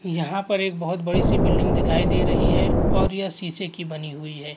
यहाँ पर एक बहुत बड़ी सी बिल्डिंग दिखाई दे रही है और ये सीसे की बनी हुई है।